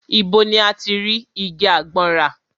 Ibo ni a ti rí igi àgbọn rà?